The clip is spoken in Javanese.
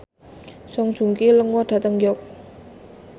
Song Joong Ki lunga dhateng York